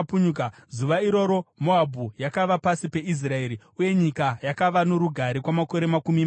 Zuva iroro Moabhu yakava pasi peIsraeri, uye nyika yakava norugare kwamakore makumi masere.